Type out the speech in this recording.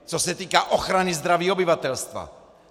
Co se týká ochrany zdraví obyvatelstva.